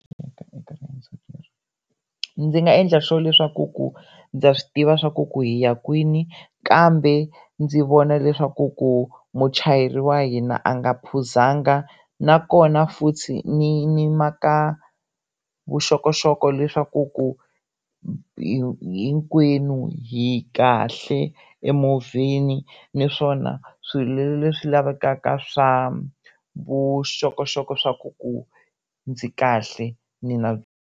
ndzi nga endla sure leswaku ku ndza swi tiva swaku ku hi ya kwini kambe ndzi vona leswaku ku muchayeri wa hina a nga phuzanga nakona futhi ni ni ma ka vuxokoxoko leswaku ku hinkwenu hi kahle emovheni naswona swilo leswi lavekaka swa vuxokoxoko swa ku ku ndzi kahle .